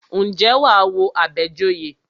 Ǹjẹ́ wà á wo Àbẹ̀joyè?